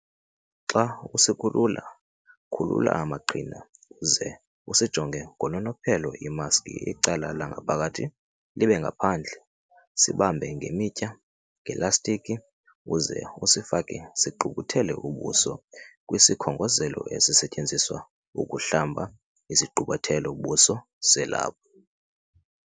Xa usikhulula, khulula amaqhina, uze usisonge ngononophelo imaski icala langaphakathi libe ngaphandle, sibambe ngemitya - ngelastikhi uze usifake sigqubuthele ubuso kwisikhongozelo esisetyenziswa ukuhlamba isigqubuthelo-buso selaphu.